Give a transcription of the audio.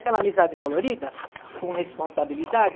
Aquela amizade colorida, com responsabilidade.